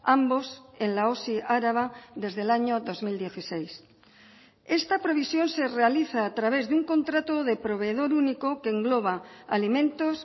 ambos en la osi araba desde el año dos mil dieciséis esta previsión se realiza a través de un contrato de proveedor único que engloba alimentos